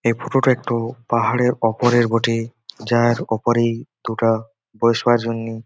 এই ফটো -টা একটু পাহাড়ের উপরের বটে। যার উপরে দুটা বসার জন্যে --